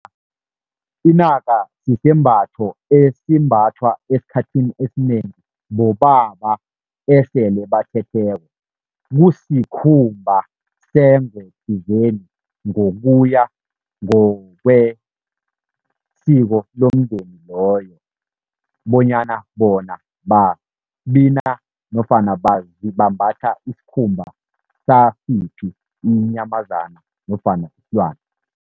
Inaka sisembatho esimbathwa esikhathini esinengi bobaba esele bathetheko. Kusikhumba sengwe thizeni ngokuya ngokwesiko lomndeni loyo, bonyana bona babina nofana bambatha isikhumba sasiphi inyamazana nofana isilwana.